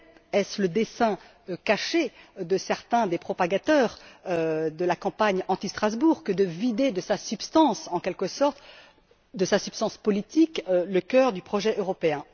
Peut être est ce le dessein caché de certains des propagateurs de la campagne anti Strasbourg que de vider en quelque sorte de sa substance politique le cœur du projet européen?